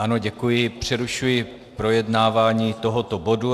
Ano, děkuji, přerušuji projednávání tohoto bodu.